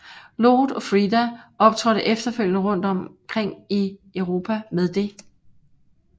Lord og Frida optrådte efterfølgende rundt omkring i Europa med det